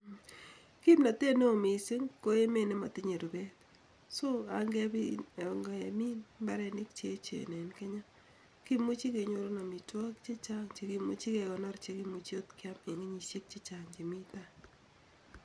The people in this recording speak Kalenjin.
Kimnotet neo missing ko emot chemotonye rubet so en kemin imbarenik cheyechen en kenya, kimuche kenyorun omitwokik chechan chekimuche kekonor , chekimuche kiam en kenyishek chechank chemii tai